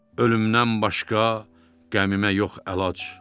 Ölümdən başqa qəmimə yox əlac.